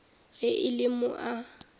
ge e le mo a